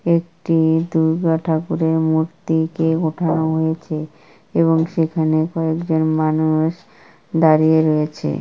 একটি দুর্গা ঠাকুরের মূর্তি কে উঠানো হয়েছে এবং সেখানে কয়েকজন মানুষ দাঁড়িয়ে রয়েছে।